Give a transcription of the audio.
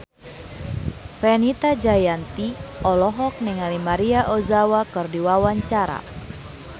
Fenita Jayanti olohok ningali Maria Ozawa keur diwawancara